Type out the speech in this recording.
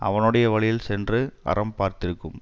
அவனுடைய வழியில் சென்று அறம் பார்த்திருக்கும்